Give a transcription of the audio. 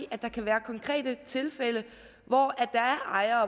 at der kan være konkrete tilfælde hvor der er ejere